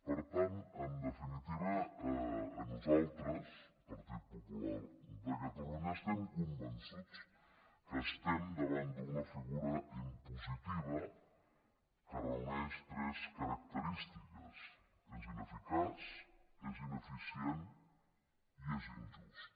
per tant en definitiva nosaltres partit popular de catalunya estem convençuts que estem davant d’una figura impositiva que reuneix tres característiques és ineficaç és ineficient i és injust